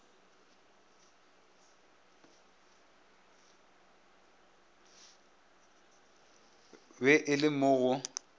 be e le mo go